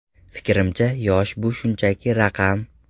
Fikrimcha, yosh bu shunchaki raqam.